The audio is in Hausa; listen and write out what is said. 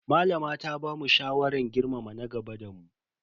Malama ta bamu shawaran girmama na gaba da mu.